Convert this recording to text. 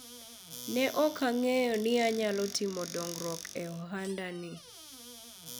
ne ok ang'eyo ni anyal timo dongruok e ohanda ni